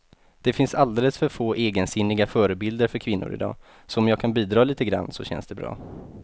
Det finns alldeles för få egensinniga förebilder för kvinnor i dag, så om jag kan bidra lite grann så känns det bra.